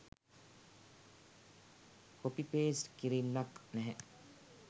Copy paste කිරිල්ලක් නැහැ.